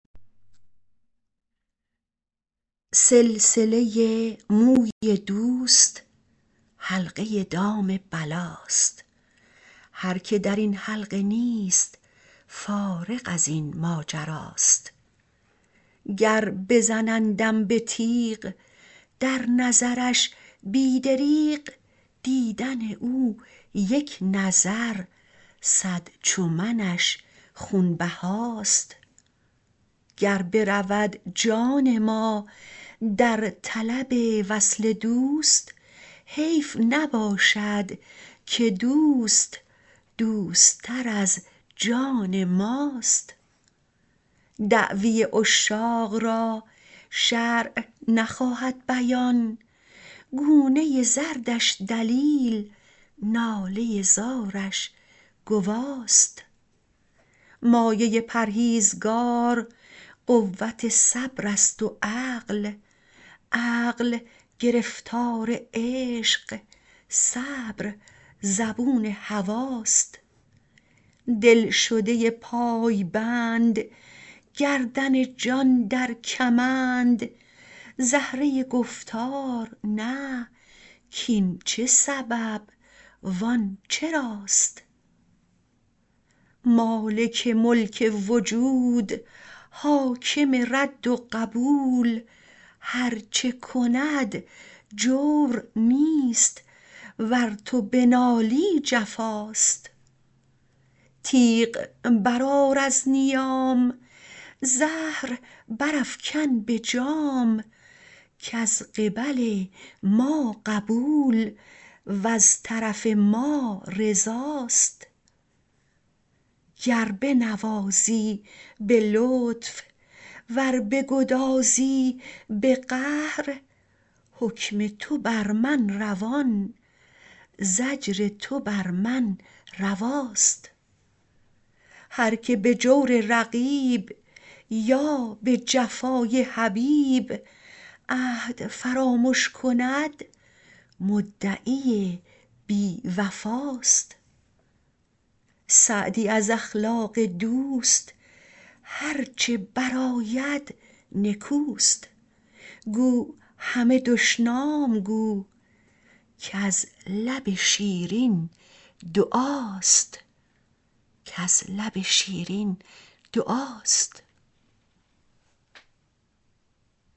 سلسله موی دوست حلقه دام بلاست هر که در این حلقه نیست فارغ از این ماجراست گر بزنندم به تیغ در نظرش بی دریغ دیدن او یک نظر صد چو منش خونبهاست گر برود جان ما در طلب وصل دوست حیف نباشد که دوست دوست تر از جان ماست دعوی عشاق را شرع نخواهد بیان گونه زردش دلیل ناله زارش گواست مایه پرهیزگار قوت صبر است و عقل عقل گرفتار عشق صبر زبون هواست دلشده پایبند گردن جان در کمند زهره گفتار نه کاین چه سبب وان چراست مالک ملک وجود حاکم رد و قبول هر چه کند جور نیست ور تو بنالی جفاست تیغ برآر از نیام زهر برافکن به جام کز قبل ما قبول وز طرف ما رضاست گر بنوازی به لطف ور بگدازی به قهر حکم تو بر من روان زجر تو بر من رواست هر که به جور رقیب یا به جفای حبیب عهد فرامش کند مدعی بی وفاست سعدی از اخلاق دوست هر چه برآید نکوست گو همه دشنام گو کز لب شیرین دعاست